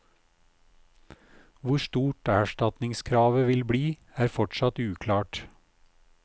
Hvor stort erstatningskravet vil bli, er fortsatt uklart.